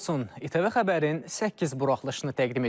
ATV xəbərin səkkiz buraxılışını təqdim edirik.